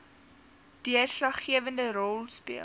deurslaggewende rol speel